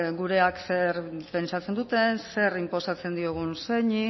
gureak zer pentsatzen duten zer inposatzen diogun zeini